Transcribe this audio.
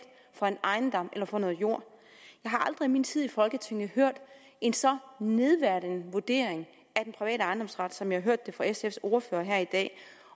for en ejendom eller for noget jord jeg har aldrig i min tid i folketinget hørt en så nedværdigende vurdering af den private ejendomsret som jeg har hørt det fra sfs ordfører her i dag